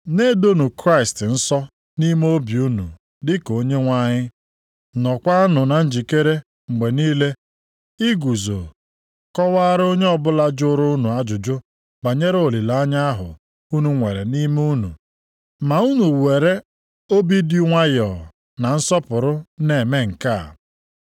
Na-edonụ Kraịst nsọ nʼime obi unu dịka Onyenwe anyị. Nọọkwanụ na njikere mgbe niile iguzo kọwaara onye ọbụla jụrụ unu ajụjụ banyere olileanya ahụ unu nwere nʼime unu. Ma unu were obi dị nwayọọ na nsọpụrụ na-eme nke a.